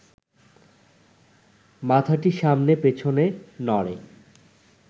মাথাটি সামনে পেছনে নড়ে